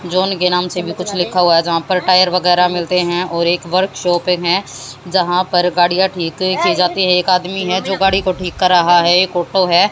John के नाम से भी कुछ लिखा हुआ है जहां पर टायर वगैरह मिलते है और एक वर्कशॉप है जहां पर गाड़ियां ठीक की जाती है एक आदमी है जो गाड़ी को ठीक कर रहा है एक ऑटो है।